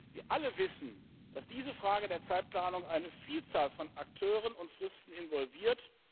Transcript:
Wir alle wissen, dass diese Frage der Zeitplanung eine Vielzahl an Akteuren und Fristen involviert.